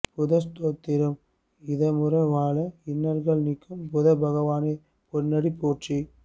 புத ஸ்தோத்திரம் இதமுற வாழ இன்னல்கள் நீக்கு புத பகவானே பொன்னடி போற்றி